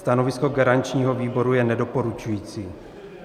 Stanovisko garančního výboru je nedoporučující.